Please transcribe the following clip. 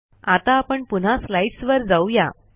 आता आपण पुन्हा स्लाईडस् वर जाऊ या